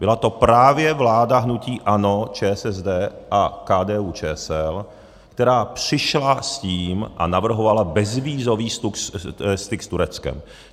Byla to právě vláda hnutí ANO, ČSSD a KDU-ČSL, která přišla s tím a navrhovala bezvízový styk s Tureckem.